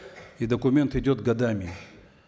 и документ идет годами